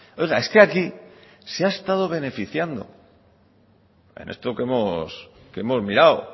oiga es que aquí se ha estado beneficiando en esto que hemos mirado